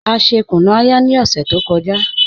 A ṣè kùnú-ayà ni ọṣẹ tó kọ́jà